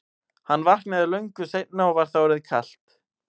Hann vaknaði löngu seinna og var þá orðið kalt.